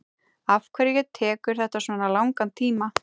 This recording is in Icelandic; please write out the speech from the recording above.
afhverju tekur þetta svona langan tíma